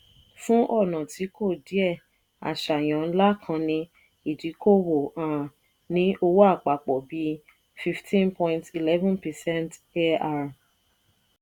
fún ọ̀nà tí kò díẹ àṣàyàn ńlá kan ní ìdíkòwò um ní owó àpapọ̀ bí 15.11 percent arm.